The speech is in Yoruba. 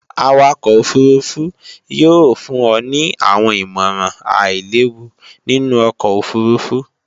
Awakọ òfurufú yóò fún ọ ní àwọn ìmọ̀ràn àílewu nínú ọkọ̀ òfurufú